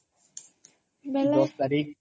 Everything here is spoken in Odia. ଦଶ ତାରିଖ୍